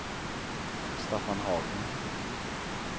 Staffan Hagman